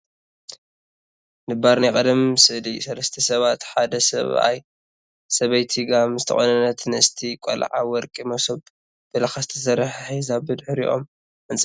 ንባር ናይ ቅድም ስእሊ ሰለስተ ስባት ሓደ ስብኣይ፣ ሰብይቲ ጋም ዝተቆነነትን ንእስቲ ቆልዓ ወርቂ ምሶብ ብላካ ዝተሰርሓ ሒዛ ብድሕሪኦም ዕንፀይቲ ኣሎ።